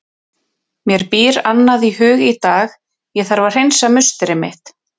Mér býr annað í hug í dag, ég þarf að hreinsa musteri mitt.